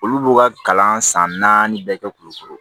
Olu b'u ka kalan san naani bɛɛ kɛ kulukoro